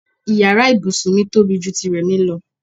Ìyára ibùsùn mi tóbi ju ti Rẹ̀mí lọ.